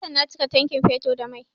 Satin can na cika tankin fetur da mai